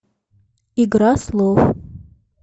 игра слов